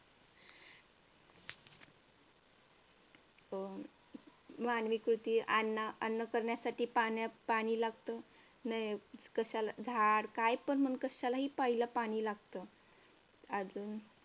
हम्म मानवी कृती आणि अन्न करण्यासाठी पाणी लागतं. झाड कशाला काही पण पहिलं पाणी लागतं अजून